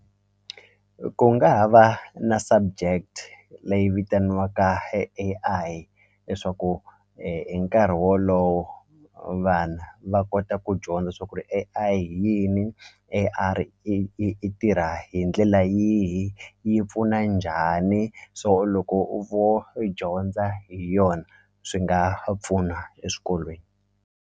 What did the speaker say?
Ku nga ha va na subject leyi vitaniwaka e A_I leswaku hi nkarhi wolowo vana va kota ku dyondza swa ku ri A_I hi yini yi yi i tirha hi ndlela yihi yi pfuna njhani so loko u vo i dyondza hi yona swi nga pfuna eswikolweni.